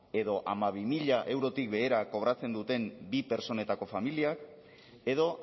edo hamabi mila eurotik behera kobratzen duten bi pertsonetako familiak edo